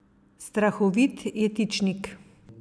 Strahovit jetičnik.